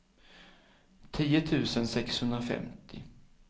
tio tusen sexhundrafemtio